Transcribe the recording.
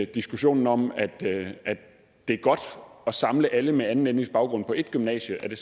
diskussionen om at det er godt at samle alle med anden etnisk baggrund på et gymnasie